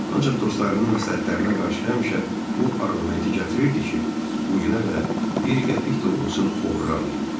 Ancaq dostlarının məsləhətlərinə qarşı həmişə bu arqumenti gətirirdi ki, bu günə qədər bir qəpik də olsun oğurlamayıb.